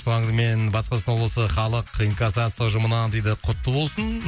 туған күнімен батыс қазақстан облысы халық инкасация ұжымынан дейді құтты болсын